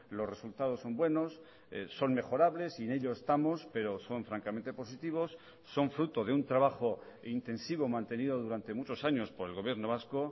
los resultados son buenos son mejorables y en ello estamos pero son francamente positivos son fruto de un trabajo intensivo mantenido durante muchos años por el gobierno vasco